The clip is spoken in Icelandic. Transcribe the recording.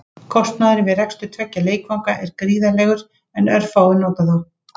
Kostnaðurinn við rekstur tveggja leikvanga er gríðarlegur en örfáir nota þá.